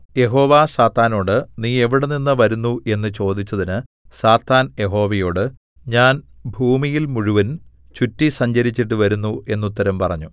യഹോവ സാത്താനോട് നീ എവിടെനിന്ന് വരുന്നു എന്ന് ചോദിച്ചതിന് സാത്താൻ യഹോവയോട് ഞാൻ ഭൂമിയിൽ മുഴുവൻ ചുറ്റി സഞ്ചരിച്ചിട്ടു വരുന്നു എന്നുത്തരം പറഞ്ഞു